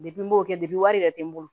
Depi n b'o kɛ wari yɛrɛ tɛ n bolo